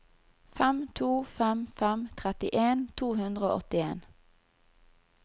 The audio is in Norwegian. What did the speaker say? fem to fem fem trettien to hundre og åttien